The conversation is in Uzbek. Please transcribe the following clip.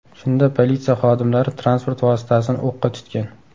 Shunda politsiya xodimlari transport vositasini o‘qqa tutgan.